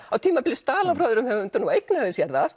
á tímabili stal hann frá öðrum höfundum og eignaði sér það